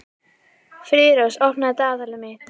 Friðrós, opnaðu dagatalið mitt.